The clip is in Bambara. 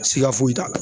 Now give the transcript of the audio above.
Siga foyi t'a la